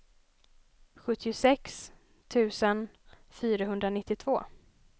sjuttiosex tusen fyrahundranittiotvå